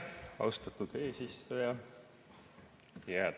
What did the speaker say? Austatud eesistuja!